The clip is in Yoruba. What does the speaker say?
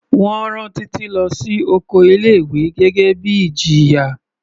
Wọ́n rán Títí lọ sí oko ilé ìwé gẹ́gẹ́ bíi ìjìyà.